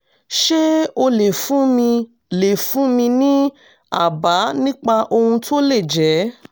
ṣé o lè fún mi lè fún mi ní àbá nípa ohun tó lè jẹ́?